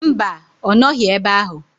Mba, ọ nọghi ebe ahụ.